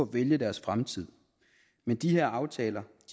vælge deres fremtid men de her aftaler